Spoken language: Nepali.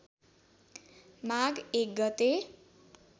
माघ १ गते